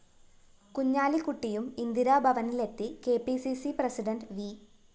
കുഞ്ഞാലിക്കുട്ടിയും ഇന്ദിരാഭവനിലെത്തി K P C C president V